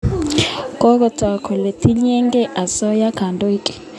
Kokotok kole tiny ye key asoya kandoik